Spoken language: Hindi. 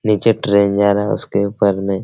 नीचे ट्रेन जा रहा है उसके ऊपर में।